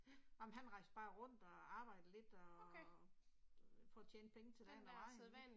Nåh men han rejste bare rundt og arbejdede lidt og jeg tror tjente penge til dagen og vejen